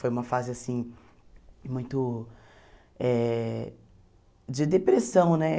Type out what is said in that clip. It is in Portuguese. Foi uma fase, assim, muito eh de depressão, né?